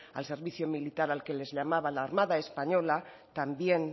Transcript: al servicio militar al que les llamaba la armada española también